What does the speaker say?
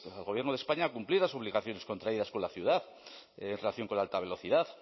al gobierno de españa a cumplir las obligaciones contraídas con la ciudad en relación con la alta velocidad